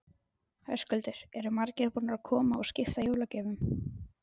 Höskuldur: Eru margir búnir að koma og skipta jólagjöfum?